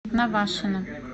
навашино